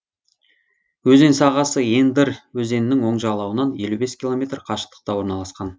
өзен сағасы ендырь өзенінің оң жағалауынан елу бес километр қашықтықта орналасқан